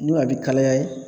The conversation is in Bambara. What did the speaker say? N'o a bɛ kalaya ye.